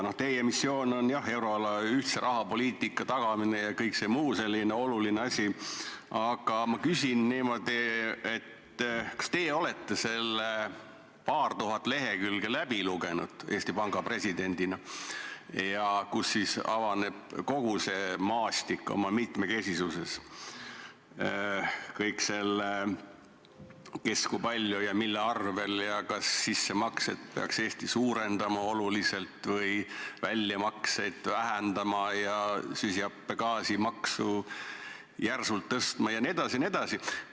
Teie missioon on, jah, tagada euroala ühtne rahapoliitika ja kõik muu selline oluline, aga ma küsin niimoodi: kas teie kui Eesti Panga president olete läbi lugenud need paar tuhat lehekülge, kus avaneb kogu see maastik oma mitmekesisuses – kõik see, kes ja kui palju ja mille arvel, ning see, kas Eesti peaks sissemakset oluliselt suurendama või väljamakset vähendama ja süsihappegaasimaksu järsult kasvatama jne?